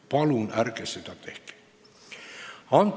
Palun ärge seda tehke!